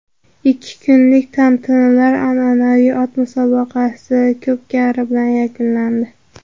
Ikki kunlik tantanalar an’anaviy ot musobaqasi ko‘pkari bilan yakunlandi.